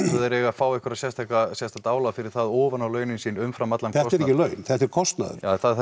þeir eigi að fá eitthvað sérstakt sérstakt álag fyrir það ofaná launin sín umfram allan kostnað þetta eru ekki laun þetta er kostnaður